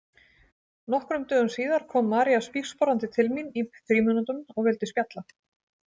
Nokkrum dögum síðar kom María spígsporandi til mín í frímínútum og vildi spjalla.